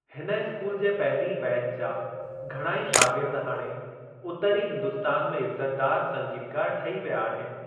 हिन स्‍कूल जे पहिरीं बैच जा घणा ही शागिर्द हाणे उतरी हिंदुस्‍तान में इज्‍ज़तदार संगीतकार ठही विया आहिनि।